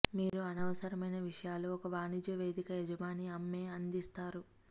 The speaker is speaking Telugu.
మీరు అనవసరమైన విషయాలు ఒక వాణిజ్య వేదిక యజమాని అమ్మే అందిస్తారు